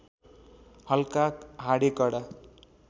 हल्का हाडे कडा